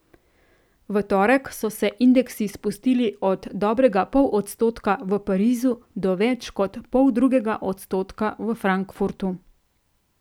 V torek so se indeksi spustili od dobrega pol odstotka v Parizu do več kot poldrugega odstotka v Frankfurtu.